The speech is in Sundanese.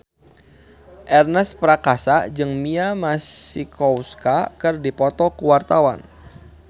Ernest Prakasa jeung Mia Masikowska keur dipoto ku wartawan